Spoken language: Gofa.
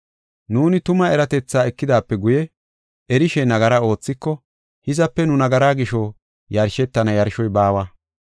Nuuni tuma eratethaa ekidaape guye erishe nagara oothiko, hizape nu nagaraa gisho yashetana yarshoy baawa.